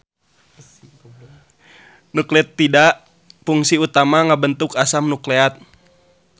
Nukleotida pungsi utamana ngabentuk asam nukleat